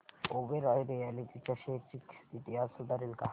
Oberoi realty च्या shares ची स्थिती आज सुधारेल का